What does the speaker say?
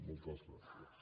moltes gràcies